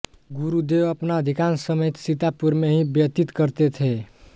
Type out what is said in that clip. गुरुदेव अपना अधिकांश समय सीतापुर में ही व्यतीत करते थे